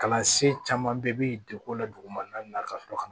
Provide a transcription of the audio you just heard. Kalansen caman bɛ degun la dugumana na ka sɔrɔ ka